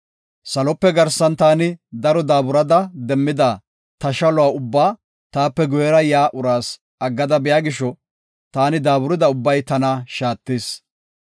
Salope garsan taani daro daaburada demmida ta shaluwa ubbaa taape guyera yaa uraas aggada biya gisho, taani daaburida ubbay tana shaattis.